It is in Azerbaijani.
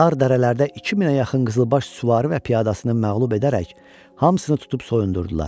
Dar dərələrdə 2000-ə yaxın qızılbaş süvari və piyadasını məğlub edərək, hamısını tutub soyundurdular.